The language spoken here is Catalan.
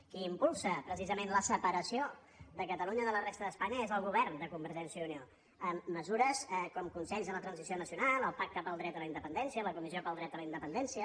qui impulsa precisament la separació de catalunya de la resta d’espanya és el govern de convergència i unió amb mesures com consells de la transició nacional o el pacte pel dret a la independència la comissió pel dret a la independència